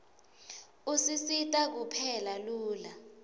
usisita kupheka lula